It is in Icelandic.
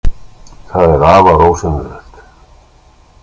Það er afar ósennilegt.